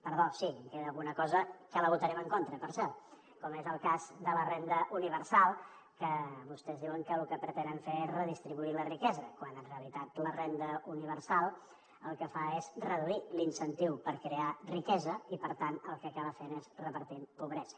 perdó sí en queda alguna cosa que la votarem en contra per cert com és el cas de la renda universal que vostès diuen que lo que pretenen fer és redistribuir la riquesa quan en realitat la renda universal el que fa és reduir l’incentiu per crear riquesa i per tant el que acaba fent és repartir pobresa